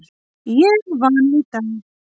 Ég vann í dag.